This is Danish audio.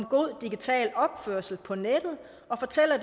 god digital opførsel på nettet og fortæller